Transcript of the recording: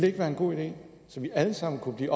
ikke være en god idé så vi alle sammen kunne blive